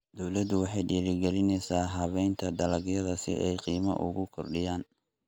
Dawladdu waxay dhiirigelinaysaa habaynta dalagyada si ay qiimo ugu kordhiyaan.